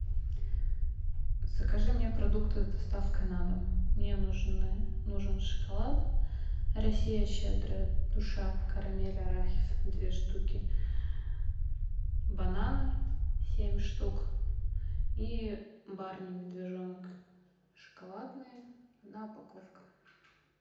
закажи мне продукты с доставкой на дом мне нужны нужен шоколад россия щедрая душа карамель арахис две штуки бананы семь штук и барни медвежонок шоколадные одна упаковка